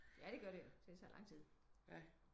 Ja det gør det jo det tager lang tid